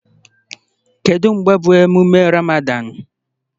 Kedu mgbe bụ emume Ramadan?